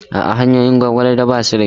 A'a, hanyoyin Gwagwalada ba su da kyau.